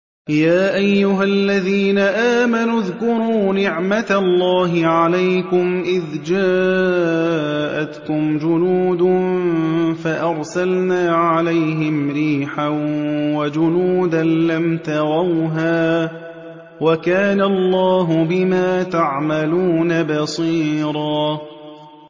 يَا أَيُّهَا الَّذِينَ آمَنُوا اذْكُرُوا نِعْمَةَ اللَّهِ عَلَيْكُمْ إِذْ جَاءَتْكُمْ جُنُودٌ فَأَرْسَلْنَا عَلَيْهِمْ رِيحًا وَجُنُودًا لَّمْ تَرَوْهَا ۚ وَكَانَ اللَّهُ بِمَا تَعْمَلُونَ بَصِيرًا